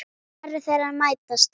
Varir þeirra mætast.